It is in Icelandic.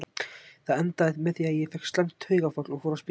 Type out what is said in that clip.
Það endaði með því að ég fékk slæmt taugaáfall og fór á spítala.